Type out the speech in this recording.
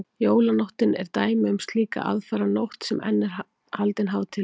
jólanóttin er dæmi um slíka aðfaranótt sem enn er haldin hátíðleg